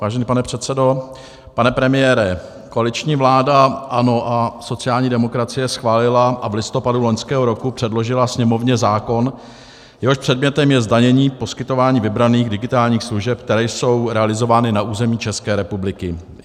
Vážený pane předsedo, pane premiére, koaliční vláda ANO a sociální demokracie schválila a v listopadu loňského roku předložila Sněmovně zákon, jehož předmětem je zdanění poskytování vybraných digitálních služeb, které jsou realizovány na území České republiky.